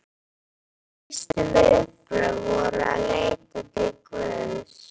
Hans fyrstu viðbrögð voru að leita til Guðs.